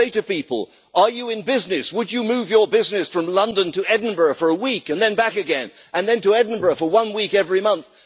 I say to people are you in business? Would you move your business from London to Edinburgh for a week and then back again, and then to Edinburgh for one week every month?